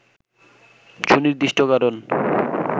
সুনির্দিষ্ট কারণ